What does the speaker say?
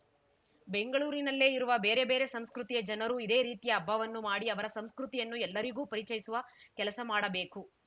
ಬೆಂಗಳೂರಿನಲ್ಲೇ ಇರುವ ಬೇರೆ ಬೇರೆ ಸಂಸ್ಕೃತಿಯ ಜನರೂ ಇದೇ ರೀತಿಯ ಹಬ್ಬವನ್ನು ಮಾಡಿ ಅವರ ಸಂಸ್ಕೃತಿಯನ್ನು ಎಲ್ಲರಿಗೂ ಪರಿಚಯಿಸುವ ಕೆಲಸ ಮಾಡಬೇಕು